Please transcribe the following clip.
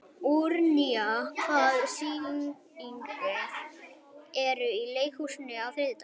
Úranía, hvaða sýningar eru í leikhúsinu á þriðjudaginn?